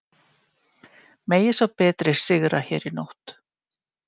Megi sá betri sigra hér í nótt.